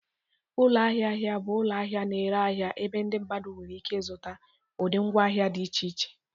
Ụlọ ahịa ahịa bụ ụlọ ahịa na-ere ahịa ebe ndị mmadụ nwere ike ịzụta ụdị ngwaahịa dị iche iche